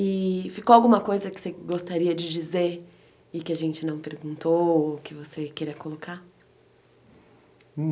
E ficou alguma coisa que você gostaria de dizer e que a gente não perguntou ou que você queria colocar?